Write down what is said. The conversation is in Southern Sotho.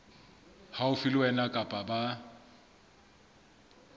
haufi le wena kapa ba